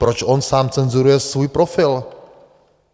Proč on sám cenzuruje svůj profil?